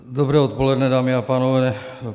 Dobré odpoledne, dámy a pánové.